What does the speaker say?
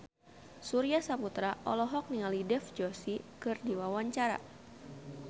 Surya Saputra olohok ningali Dev Joshi keur diwawancara